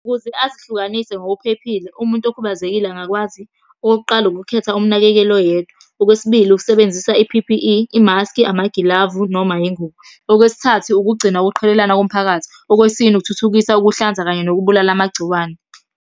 Ukuze azihlukanise ngokuphephile, umuntu okhubazekile angakwazi, okokuqala ukukhetha umnakekeli oyedwa. Okwesibili, ukusebenzisa i-P_P_E, imaskhi, amagilavu, noma yingubo. Okwesithathu ukugcina ukuqhelelana komphakathi. Okwesine ukuthuthukisa ukuhlanza kanye nokubulala amagciwane.